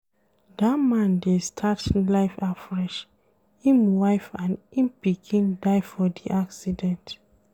Dat man dey start life afresh, im wife and im pikin die for di accident.